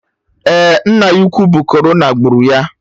Eh, nne ya ukwu bụ corona gburu ya